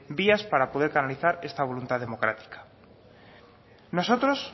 vías para poder canalizar esta voluntad democrática nosotros